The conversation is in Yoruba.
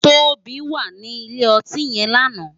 Tobi wá ni ilé òtín yèn làná